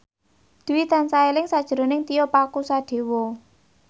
Dwi tansah eling sakjroning Tio Pakusadewo